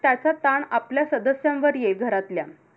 त्याचा ताण आपल्या सदस्यांवर येईल घरातल्या.